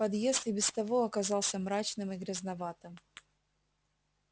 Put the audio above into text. подъезд и без того оказался мрачным и грязноватым